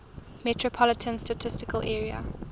metropolitan statistical area